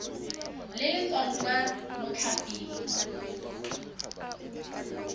le le tswang kwa mothaping